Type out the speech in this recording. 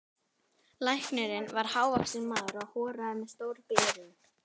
Læknirinn var hávaxinn maður og horaður með stór gleraugu.